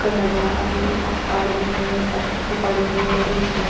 का नज़ारा है पहाड़ भी है पथर पड़े है बिच में--